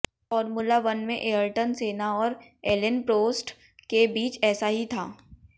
formula one में Ayrton Senna और Alain Prost के बीच ऐसा ही था